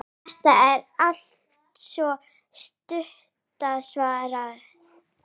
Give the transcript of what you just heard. Þetta er altso stutta svarið.